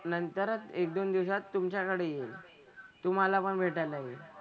नंतरच एक दोन दिवसात तुमच्याकडे येईल. तुम्हाला पण भेटायला येईल.